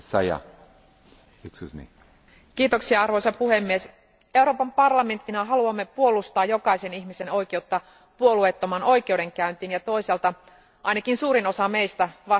Arvoisa puhemies, Euroopan parlamenttina haluamme puolustaa jokaisen ihmisen oikeutta puolueettomaan oikeudenkäyntiin ja toisaalta ainakin suurin osa meistä vastustaa kategorisesti kuolemanrangaistusta.